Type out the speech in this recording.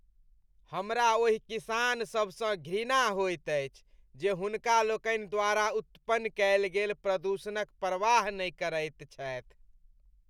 हमरा ओहि किसान सभ सँ घृणा होइत अछि जे हुनका लोकनि द्वारा उत्पन्न कएल गेल प्रदूषणक परवाह नहि करैत छथि।